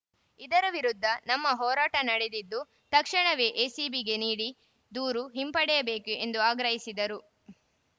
ಇದರ ವಿರುದ್ಧ ನಮ್ಮ ಹೋರಾಟ ನಡೆದಿದ್ದು ತಕ್ಷಣವೇ ಎಸಿಬಿಗೆ ನೀಡಿ ದೂರು ಹಿಂಪಡೆಯಬೇಕು ಎಂದು ಆಗ್ರಹಿಸಿದರು